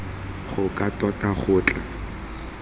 go ka tota go tla